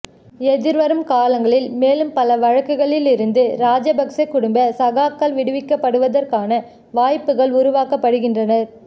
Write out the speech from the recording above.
எதிர்வரும் காலங்களில் மேலும் பல வழக்குகளில் இருந்து ராஜபக்சே குடும்ப சகாக்கள் விடுவிக்கப்படுவதற்கான வாய்ப்புகள் உருவாக்க படுகின்றனர்